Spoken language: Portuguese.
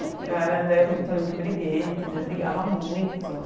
Eu era dai eu me tornei muito briguenta, daí brigava muito.